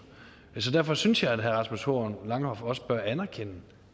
derfor synes jeg at herre rasmus horn langhoff også bør anerkende